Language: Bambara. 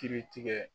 Kiritigɛ